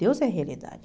Deus é a realidade.